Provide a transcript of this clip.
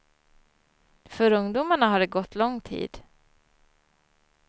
För ungdomarna har det gått lång tid.